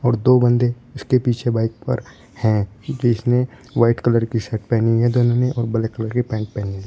दो बंदे इसके पीछे बाइक पर है जिसने व्हाइट कलर की शर्ट पहनी है दोनों ने और ब्लैक कलर की पैंट पहनी--